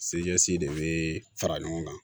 Se ɲɛsi de bɛ fara ɲɔgɔn kan